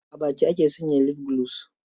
A baki ake sanya lif gulos.